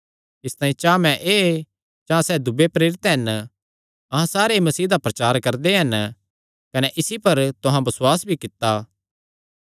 इसतांई चां मैं ऐ चां सैह़ दूये प्रेरित हन अहां सारे ई मसीह दा प्रचार करदे हन कने इसी पर तुहां बसुआस भी कित्ता